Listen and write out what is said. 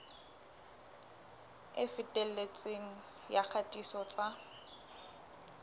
e felletseng ya kgatiso tsa